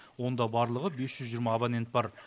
онда барлығы бес жүз жиырма абонент бар